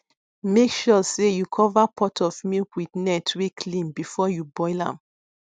make sure sey you cover pot of milk with net wey clean before you boil am